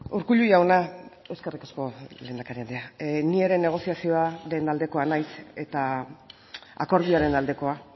urkullu jauna eskerrik asko lehendakari andrea ni ere negoziazioaren aldekoa naiz eta akordioaren aldekoa